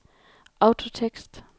autotekst